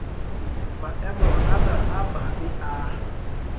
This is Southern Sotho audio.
maemo ana a mabe a